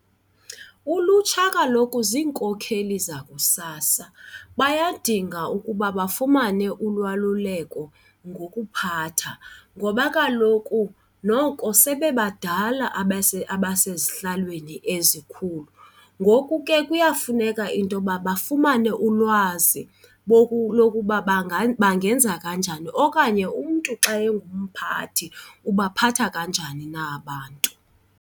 Ulutsha kaloku ziinkokeli zakusasa bayadinga ukuba bafumane ulwaluleko ngokuphatha ngoba kaloku noko sebebadala abasezihlalweni ezikhulu. Ngoku ke kuyafuneka intoba bafumane ulwazi lokuba bangenza kanjani okanye umntu xa engumphathi, ubaphatha kanjani na abantu.